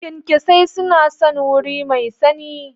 kyankyasai suna son wuri mai sanyi.